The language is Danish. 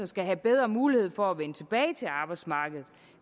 skal have bedre mulighed for at vende tilbage til arbejdsmarkedet